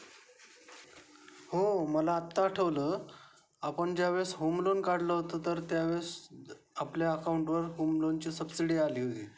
हो मला आता आठवलं आपण ज्या वेळेस होम लोन काढलं होत त्या वेळेस आपल्या अकॉउंट वर होम लोन ची सबसिडी आली होती.